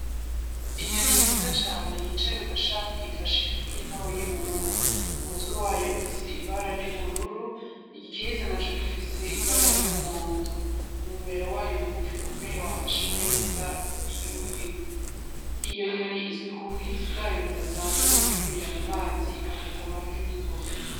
Inyoni nziza cane yicaye ku gashami ifashe ifi ntoya mu munwa, Umutwe wayo ufise ibara ry'ubururu igikiriza naco gifise ibara y'umuhondo umumero wayo mu gufi ukomeye wafashe neza iyo fi, Iyo nyoni izwi ku buhizi bwayo budasanzwe bwo kwibira mu mazi igafata amafi ningoga.